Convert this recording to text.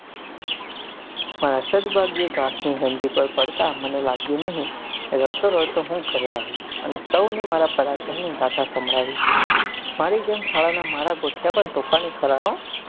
મારા સદભાગ્યે ઘાસ ની ગંજી પર પડતા મને લાગ્યું નહિ ને રડતો રડતો હું ઘરે આવ્યો અને સૌ ને મારા પરાક્રમ ની ગાથા સંભળાવી મારી જેમ શાળા નાં મારા ગોઠિયા પણ તોફાની ખરા હો.